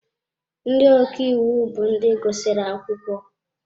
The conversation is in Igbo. Ndị ọka iwu bụ ndị gụsịrị akwụkwọ.